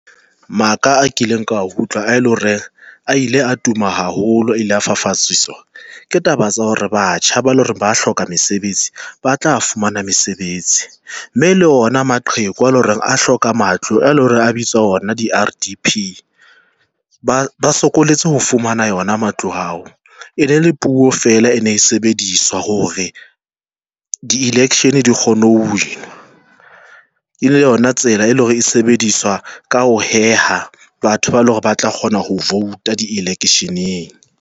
Maka a kileng ka a utlwa ae le hore a ile a tuma haholo, ile a fafatsiswa ke taba tsa hore batjha ba le hore ba hloka mesebetsi, ba tla fumana mesebetsi, mme le ona maqheku a le hore a hloka matlo a le hore a bitswa ona di-R_D_P, ba ba sokolotse ho fumana wona matlo ao e ne le puo fela e ne e sebediswa hore di-election di kgone ho win-wa e le yona tsela eleng hore e sebediswa ka ho heha batho ba le hore ba tla kgona ho vote a di-election-eng.